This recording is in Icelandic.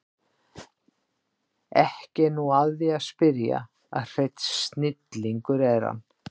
Ekki er nú að því að spyrja að hreinn snillingur er hann